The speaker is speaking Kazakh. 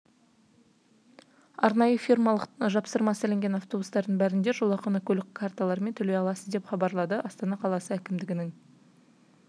арнайы фирмалық жапсырмасы ілінген автобустардың бәрінде жолақыны көлік карталарымен төлей аласыз деп хабаралды астана қаласы әкімдігінің